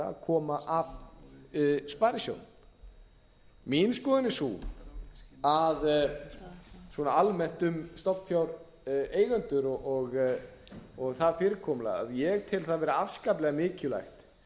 að koma að sparisjóðum mín skoðun er sú svona almennt um stofnfjáreigendur og það fyrirkomulag að ég tel það vera afskaplega mikilvægt